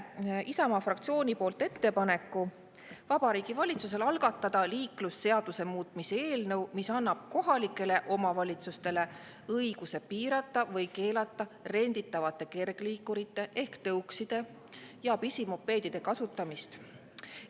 Annan Isamaa fraktsiooni nimel üle ettepaneku Vabariigi Valitsusele algatada liiklusseaduse muutmise eelnõu, mis annab kohalikele omavalitsustele õiguse piirata või keelata renditavate kergliikurite ehk tõukside ja pisimopeedide kasutamist.